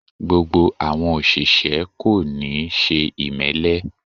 Gbogbo àwọn òṣìṣẹ́ kò níí ṣe ìmẹ́lẹ́